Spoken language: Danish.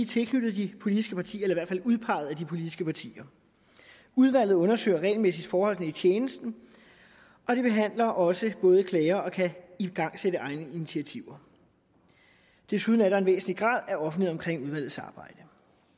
tilknyttet de politiske partier eller udpeget af de politiske partier udvalget undersøger regelmæssigt forholdene i tjenesten og de behandler også både klager og kan igangsætte egne initiativer desuden er der en væsentlig grad af offentlighed omkring udvalgets arbejde